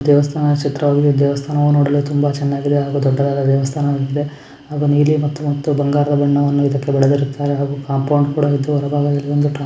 ದೇವಸ್ಥಾನ ಚಿತ್ರದಲ್ಲಿ ದೇವಸ್ಥಾನವನ್ನು ನೋಡಲು ತುಂಬಾ ಚನ್ನಾಗಿದೆ ಹಾಗು ದೊಡ್ಡದಾಗಿದೆ ದೇವಸ್ಥಾನ ಇದೆ. ಅದು ನೀಲಿ ಮತ್ತು ಬಂಗಾರವಾದ ಬಣ್ಣ ಇದಕ್ಕೆ ಹೊಡದಿರ್ತಾರೆ ಮತ್ತೆ ಹಾಗು ಕಾಂಪೌಂಡ್ ಕೂಡಾ --